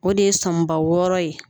O de ye sɔmiba wɔɔrɔ ye